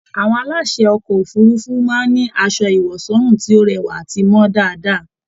Àwọn aláṣè ọkọ òfurùnfu máa n ní asọ ìwọ̀sọ́rùn tí o rẹwa àti mọ dáadáa